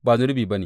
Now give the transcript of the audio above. Ba zunubi ba ne.